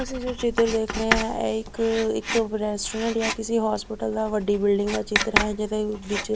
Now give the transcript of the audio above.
ਤੁਸੀਂ ਜੋ ਚਿੱਤਰ ਦੇਖ ਰਹੇ ਆ ਇਹ ਇੱਕ ਇੱਕ ਰੈਸਟੋਰੈਂਟ ਯਾਂ ਕਿਸੇ ਹੋਸਪਿਟਲ ਦਾ ਵੱਡੀ ਬਿਲਡਿੰਗ ਦਾ ਚਿੱਤਰ ਹੈ ਜਿਹਦੇ ਵਿੱਚ--